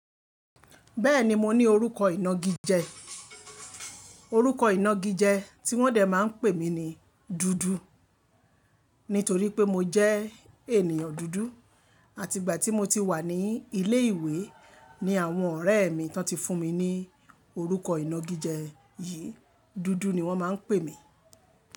Bẹ́ẹ̀ni mo ní orúkọ ìnagijẹ, orúkọ ìnagijẹ tí wọ́n dè máa ń pè mí ní dúdú nítorí pé mo jẹ́ ènìyàn dúdú àti ìgbà tí mo ti wà ní ilé ìwé ni àwọn ọ̀rẹ́ mi tán ti fún mi ní orúkọ ìnagijẹ yìí, dúdú ni wọ́n máa ń pè mí.